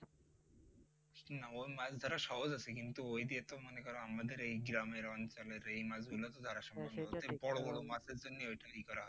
না মাছ ধরা সহজ আছে কিন্তু অইযে মনে করো আমাদের এই গ্রামের অঞ্চলের এই মাছ গুলা বড় বড় মাছের জন্য অইটা ইয়ে করা হয়